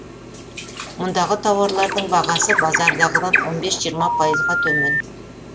мұндағы тауарлардың бағасы базардағыдан он бес жиырма пайызға төмен